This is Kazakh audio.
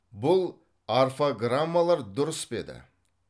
бұл орфограммалар дұрыс пе еді